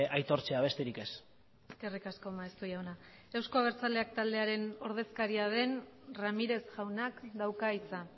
aitortzea besterik ez eskerrik asko maeztu jauna euzko abertzaleak taldearen ordezkaria den ramírez jaunak dauka hitza